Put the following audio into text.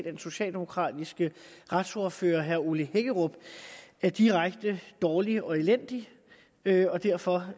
af den socialdemokratiske retsordfører herre ole hækkerup er direkte dårlig og elendig derfor